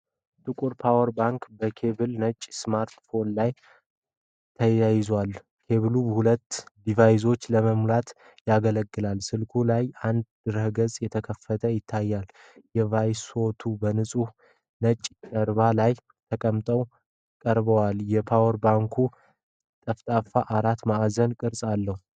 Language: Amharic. ጥቁር ፓወር ባንክ በኬብል ነጭ ስማርት ፎን ጋር ተያይዟል። ኬብሉ ሁለቱንም ዲቫይሶች ለመሙላት ያገለግላል። ስልኩ ላይ አንድ ድረ-ገጽ ተከፍቶ ይታያል። ዲቫይሶቹ በንጹህ ነጭ ጀርባ ላይ ተቀምጠው ቀርበዋል። የፓወር ባንኩ ጠፍጣፋ አራት ማዕዘን ቅርፅ አለው።